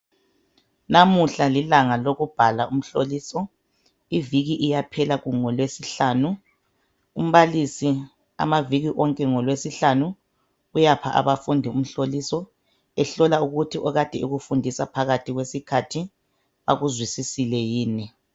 Namuhla lilanga lokubhala umhlolise iviki iyaphela ngolwesihlanu umbalisi amaviki wonke ngolwesihlanu uyapha abafundi umhloliso ehlola ukuthi okade ekufundisa phathi kwesikhathi bakuzwisisile yini.